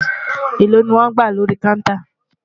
èlò ní wón gbà lórí kàùntà?